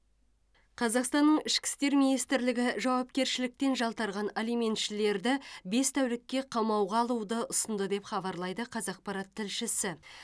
қазақстанның ішкі істер министрлігі жауапкершіліктен жалтарған алиментшілерді бес тәулікке қамауға алуды ұсынды деп хабарлайды қазақпарат тілшісі